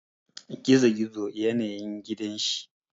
Gizogizo yane yin gidan shi.